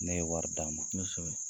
Ne ye wari d'a ma. Kosɛbɛ.